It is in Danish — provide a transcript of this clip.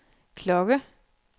klokke